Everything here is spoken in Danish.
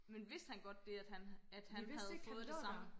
men vidste han godt det at han at havde at han havde fået det samme